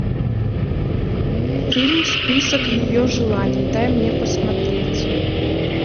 фильм список ее желаний дай мне посмотреть